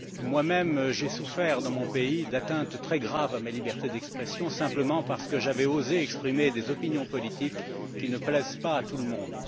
moi même, j'ai souffert dans mon pays d'atteintes très graves à ma liberté d'expression simplement parce que j'avais osé exprimer des opinions politiques qui ne plaisent pas à tout le monde.